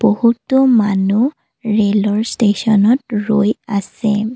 বহুতো মানুহ ৰেলৰ ষ্টেচনত ৰৈ আছে।